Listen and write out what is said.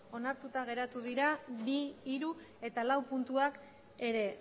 onartuta geratu dira bi hiru eta lau puntuak ere